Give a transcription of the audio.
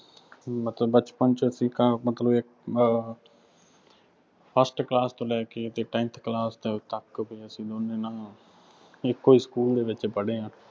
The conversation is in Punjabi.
ਮਤਲਬ ਬਚਪਨ ਅਸੀਂ ਤਾਂ ਮਤਲਬ ਇੱਕ ਅਹ first class ਤੋਂ ਲੈ ਕੇ tenth class ਤੱਕ ਅਸੀਂ ਦੋਨੇ ਨਾ ਇੱਕੋ ਸਕੂ਼ਲ ਚ ਪੜ੍ਹੇ ਹਾਂ।